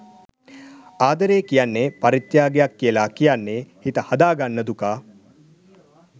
ආදරේ කියන්නේ පරිත්‍යාගයක් කියලා කියන්නේ හිත හදා ගන්න දුකා.